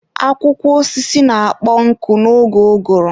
Akwụkwọ osisi na-akpọ nkụ n'oge ụgụrụ.